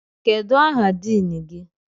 Kedụ aha diin gị?